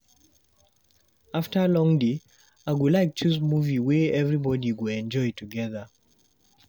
After long day, I go like choose movie wey everybody go enjoy together.